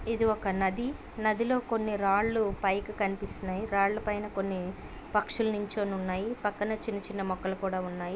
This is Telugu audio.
ఇది ఒక నది నదిలో కొని రాళ్ళూ పైకి కనిపిస్తునాయి. రాళ్ళ పైనా కొని పక్షులు నుంచొని ఉన్నాయి. పక్కనే చిన్న చిన్న మొక్కలు కుడా ఉన్నాయి.